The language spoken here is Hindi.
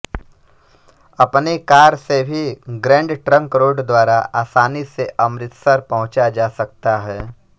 अपनी कार से भी ग्रैंड ट्रंक रोड द्वारा आसानी से अमृतसर पहुंचा जा सकता है